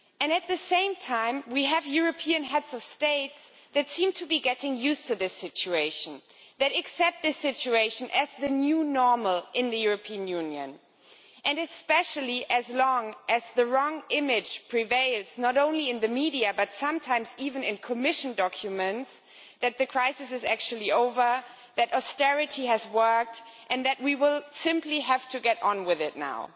At the same time, we have European heads of state who seem to be getting used to this situation, who accept this situation as the new normal in the European Union, and especially as long as the wrong image prevails not only in the media, but sometimes even in Commission documents that the crisis is actually over, that austerity has worked and that we will simply have to get on with it now.